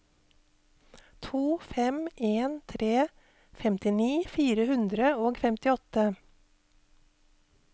to fem en tre femtini fire hundre og femtiåtte